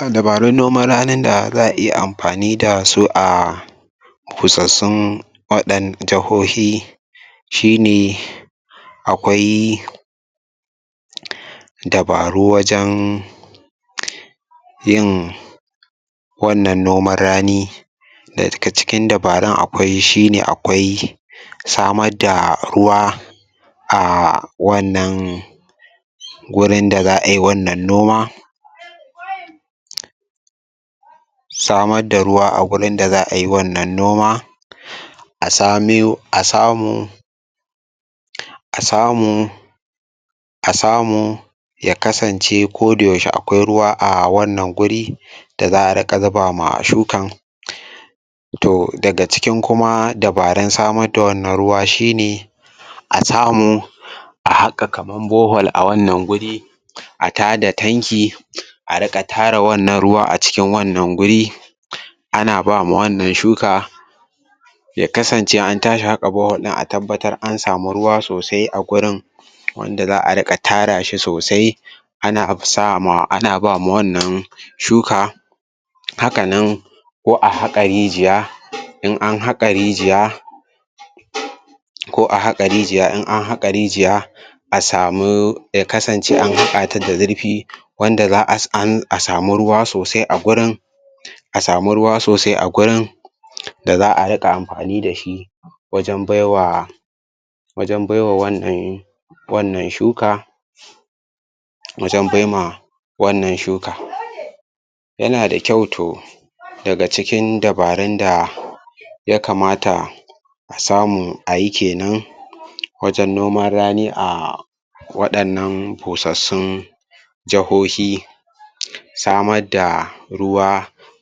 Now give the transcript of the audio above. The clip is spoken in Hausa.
um Dabarun noman ranin da za'a iya amfani dasu a fosassun waɗan jahohi shi ne akwai um dabaru wajan yin wannan noman rani daga cikin dabarun akwai shi ne akwai samad da ruwa a wannan gurin da za ai wannan noma samar da ruwa a gurin da za ai wannan noma um a sa miyo a samu um a samu a samu ya kasance koda yaushe akwai ruwa a wannan guri da za'a riƙa zuba ma shukan um toh daga cikin dabarun samar da wannan ruwa shi ne um a samu um a haƙa kaman borhole a wannan guri um a tada tanki a riƙa tara wannan ruwa a cikin wannan guri um ana bama wannan shuka ya kasance in an tashi haƙa borhole ɗin a tabbatar an sami ruwa sosai a gurin wanda za'a riƙa tara shi sosai ana sa ma ana bama wannan shuka haka nan ko a haƙa rijiya in an haƙa rijiya ko a haƙa rijiya, in an haƙa rijiya a samu ya kasance an haƙa ta da zurfi wanda za'a an sami ruwa sosai a gurin um a sami ruwa sosai a gurin da za'a riƙa amfani dashi wajan baiwa wajan baiwa wannan wannan shuka wajan bai ma wannan shuka yana da kyau toh daga cikin dabarun da ya kamata a samu a yi kenan wajan noman rani a waɗannan fosassun jahohi samad da ruwa